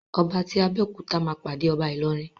Ọba ti Abéòkúta ma pàdé ọba Ilorin.